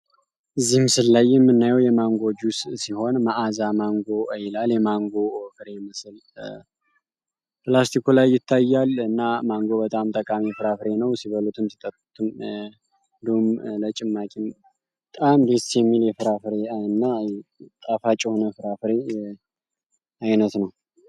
እዚህ ምስል ላይ የምናየው የማንጎ ጁስ ሲሆን መአዛ ማንጎ ይላል። የማንጎ ፍሬ ምስል ላስቲኩ ላይ ይታያል እና ማንጎ በጣም ጠቃሚ ፍራፍሬ ነው። ሲበሉትም፣ ሲጠጡትም፣ ለጭማቂም በጣም ደስ የሚል አይነት እና ጣፋጭ የሆነ ፍራፍሬ አይነት ነው።